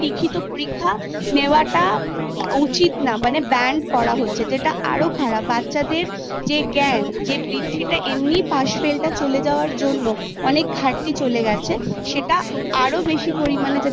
লিখিত পরীক্ষা নেওয়াটা উচিত না মানে Banned করা হচ্ছে যেটা আরো খারাপ বাচ্ছাদের যে জ্ঞান যে বৃদ্ধিতে এমনিই পাশ ফেলতে চলে যাওয়ার জন্য অনেক ঘাটতি চলে গেছে সেটা আরো বেশি পরিমানে যাতে